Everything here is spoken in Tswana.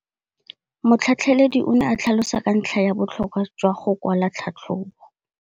Motlhatlheledi o ne a tlhalosa ka ntlha ya botlhokwa jwa go kwala tlhatlhôbô.